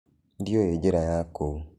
Ndĩũĩ njĩra ya kũu.